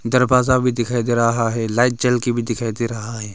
दरवाजा भी दिखाई दे रहा है लाइट जल के भी दिखाई दे रहा है।